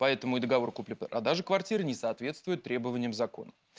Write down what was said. по этому и договор купли-продажи квартиры не соответствует требованиям закона